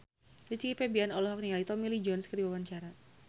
Rizky Febian olohok ningali Tommy Lee Jones keur diwawancara